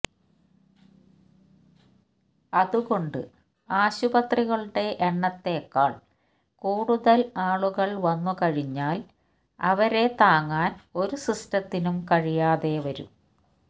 അതുകൊണ്ട് ആശുപത്രികളുടെ എണ്ണത്തേക്കാള് കൂടുതല് ആളുകള് വന്നു കഴിഞ്ഞാല് അവരെ താങ്ങാന് ഒരു സിസ്റ്റത്തിനും കഴിയാതെ വരും